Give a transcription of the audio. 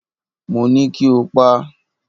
Mo ní kí o pa á!